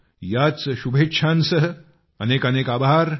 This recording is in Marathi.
याच शुभेच्छांसह अनेकानेक आभार